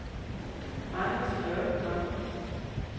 Magnus Björkman